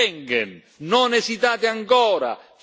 Fatelo sullo spazio Schengen!